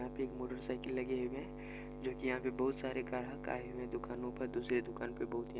यहाँ पे एक मोटर साइकिल लगे हुए हैं जो कि यहाँ पे बहोत सारे ग्राहक आए हुए है दुकानों पर दूसरे दुकान पे बहोत ही --